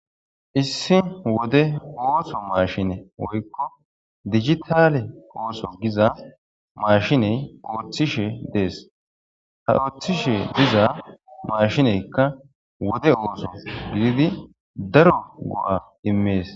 Issi wode ooso maashine woykko digitalle maashiney ooththishe dees ha ooththishe diza maashineykka wode ooththos giddi daro go'a immees